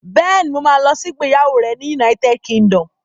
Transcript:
Bẹ́ẹ̀ni, mo ma lọ sí ìgbéyàwó rẹ̀ ní United Kingdom